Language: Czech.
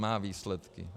Má výsledky.